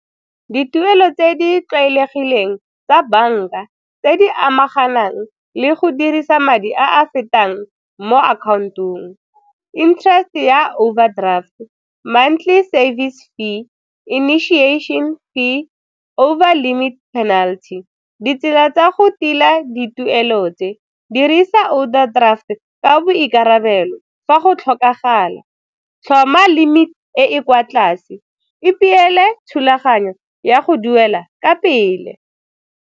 Dituelo tse di tlwaelegileng tsa banka tse di amanang le go dirisa madi a a fetang mo account-ong, interest-e ya overdraft, montlhy service fee, initiation fee, over limit penalty. Ditsela tsa go tila dituelo tse, dirisa overdraft ka boikarabelo fa go tlhokagala, tlhoma limit e e kwa tlase, ipeele thulaganyo ya go duela ka pele.